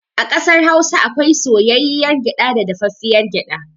A ƙasar Hausa akwai soyayyiyar gyaɗa da dafaffiyar gyaɗa.